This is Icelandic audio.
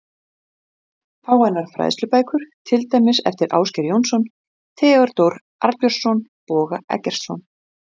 Hvaða aðferð beitum við til að komast að því hvort fullyrðing lýsir staðreynd eða ekki?